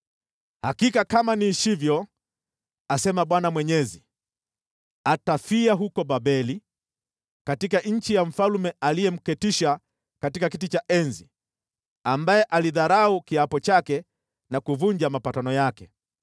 “ ‘Hakika kama niishivyo, asema Bwana Mwenyezi, atafia huko Babeli, katika nchi ya mfalme aliyemketisha katika kiti cha enzi, ambaye alidharau kiapo chake na kuvunja mapatano yake.